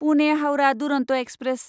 Pune Howrah Duronto express